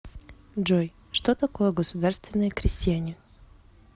джой что такое государственные крестьяне